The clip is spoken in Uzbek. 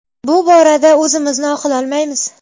Bu borada o‘zimizni oqlolmaymiz.